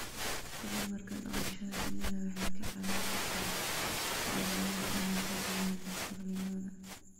Tababarka dhaqashada shinnidu waxay ka caawin kartaa beeralayda inay kordhiyaan dakhligooda.